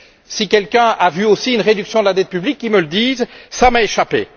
Si quelqu'un a vu aussi une réduction de la dette publique, qu'il me le dise, elle m'a échappé.